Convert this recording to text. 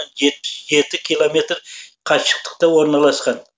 жетпіс жеті километр қашықтықта орналасқан